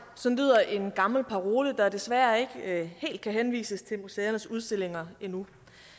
sådan lyder en gammel parole der desværre ikke helt kan henvises til museernes udstillinger endnu